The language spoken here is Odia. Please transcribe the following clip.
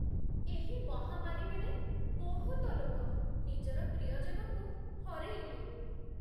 ଏହି ମହାମାରୀ ବେଳେ ବହୁତ ଲୋକ ନିଜର ପ୍ରିୟଜନଙ୍କୁ ହରେଇଲେ ।